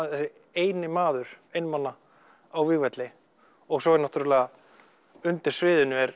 eini maður einmana á vígvelli og svo er náttúrulega undir sviðinu er